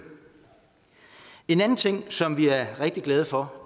en anden ting som vi er rigtig glade for